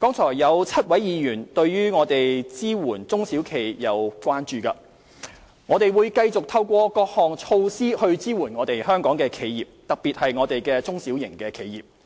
剛才有7位議員對支援中小企方面表示關注。我們會繼續透過各項措施支援香港企業，特別是中小型企業。